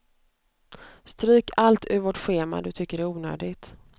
Stryk allt ur vårt schema du tycker är onödigt.